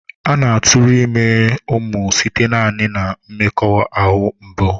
A na-aturu ime umu site naani na mmekoahu mbụ.